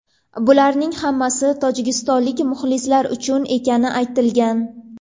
Bularning hammasi tojikistonlik muxlislar uchun ekani aytilgan.